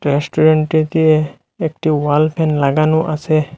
রেস্টুরেন্টটিতে একটি wall fan লাগানো আসে।